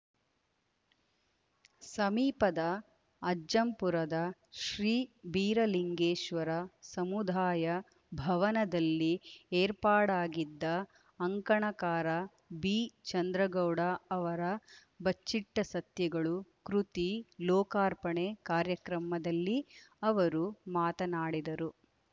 ಸಮೀಪದ ಅಜ್ಜಂಪುರದ ಶ್ರೀ ಬೀರಲಿಂಗೇಶ್ವರ ಸಮುದಾಯ ಭವನದಲ್ಲಿ ಏರ್ಪಾಡಾಗಿದ್ದ ಅಂಕಣಕಾರ ಬಿಚಂದ್ರಗೌಡ ಅವರ ಬಚ್ಚಿಟ್ಟಸತ್ಯಗಳು ಕೃತಿ ಲೋಕಾರ್ಪಣೆ ಕಾರ್ಯಕ್ರಮದಲ್ಲಿ ಅವರು ಮಾತನಾಡಿದರು